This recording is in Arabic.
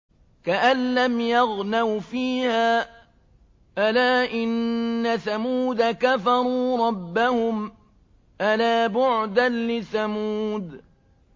كَأَن لَّمْ يَغْنَوْا فِيهَا ۗ أَلَا إِنَّ ثَمُودَ كَفَرُوا رَبَّهُمْ ۗ أَلَا بُعْدًا لِّثَمُودَ